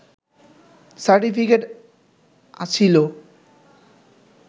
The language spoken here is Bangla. সার্টিফিকেট আছিলো